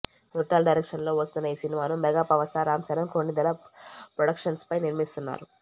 కొరటాల డైరెక్షన్లో వస్తోన్న ఈ సినిమాను మెగాపవర్ స్టార్ రామ్ చరణ్ కొణిదెల ప్రొడక్షన్స్పై నిర్మి్స్తున్నారు